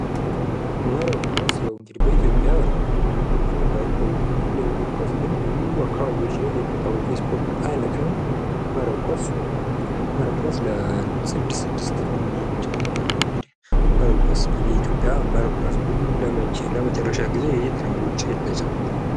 መረብ ኳስ ያው እንግዲ በኢትዮጵያ ብዙም ባይታወቅም እንደ እግር ኳስ ግን ብዙ አካባቢዎች ላይ የሚታወቅ የስፖርት አይነት ነው። መረብ ኳስ ለ 6 6 ሆነው የሚጫወቱበት ነው። እንግዲህ መረብ ኳስ እንግዲህ ኢትዮጵያ መረብ ኳስ ቡድን ለመጨረሻ ጊዜ መቼ ነው ውጪ የተጫወተው?